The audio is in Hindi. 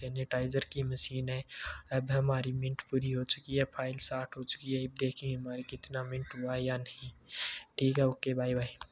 सैनिटाइजर की मशीन है अब हमारी मिनट पूरी हो चुकी है फाइल स्टार्ट हो चुकी है ईब देखिये ये हमारी कितना मिनट हुआ है या नहीं ठीक है ओके बाय बाय ।